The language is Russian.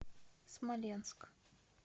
смоленск